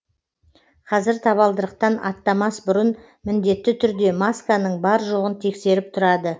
қазір табалдырықтан аттамас бұрын міндетті түрде масканың бар жоғын тексеріп тұрады